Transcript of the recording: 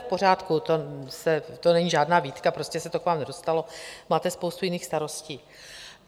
V pořádku, to není žádná výtka, prostě se to k vám nedostalo, máte spoustu jiných starostí.